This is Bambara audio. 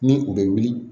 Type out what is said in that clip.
Ni u bɛ wuli